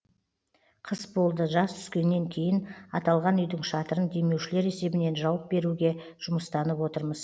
қыс болды жаз түскеннен кейін аталған үйдің шатырын демеушілер есебінен жауып беруге жұмыстанып отырмыз